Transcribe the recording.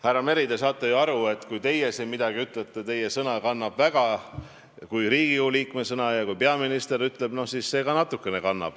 Härra Meri, te ju saate aru, et kui teie siin midagi ütlete, siis teie kui Riigikogu liikme sõna kannab väga, ja kui peaminister midagi ütleb, siis see kannab ka natukene.